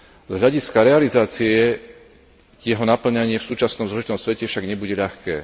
Z hľadiska realizácie jeho napĺňanie v súčasnom zložitom svete však nebude ľahké.